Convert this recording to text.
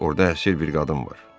Orda əsir bir qadın var.